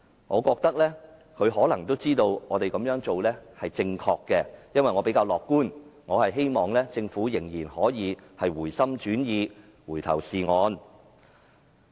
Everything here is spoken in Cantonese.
我覺得她可能知道我們這樣做是正確的，因為我比較樂觀，希望政府仍然可以回心轉意，回頭是岸。